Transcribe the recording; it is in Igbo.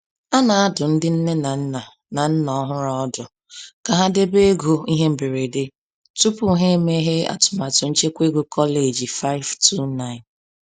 A na-adụ ndị nne na nna na nna ọhụrụ ọdụ ka ha debe ego ihe mberede tupu ha emeghe atụmatụ nchekwa ego kọleji 529.